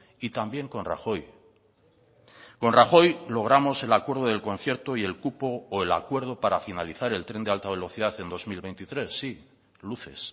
y también con rajoy con rajoy logramos el acuerdo del concierto y el cupo o el acuerdo para finalizar el tren de alta velocidad en dos mil veintitrés sí luces